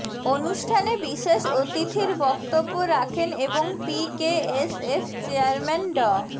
অনুষ্ঠানে বিশেষ অতিথির বক্তব্য রাখেন এবং পিকেএসএফ চেয়ারম্যান ড